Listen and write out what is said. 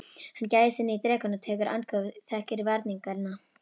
Hann gægist inn í drekann og tekur andköf, þekkir varninginn.